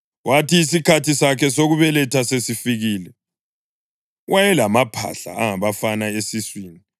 Kwathi isikhathi sakhe sokubeletha sesifikile, wayelamaphahla angabafana esiswini.